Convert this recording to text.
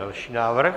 Další návrh.